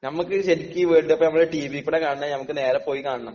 നമുക്ക് ശരിക്ക് ഈ വേൾഡ് കപ്പ് ടീവി കൂടെ കാണുന്നതിന നമ്മക്ക് നേരിട്ട് പോയി കാണണം.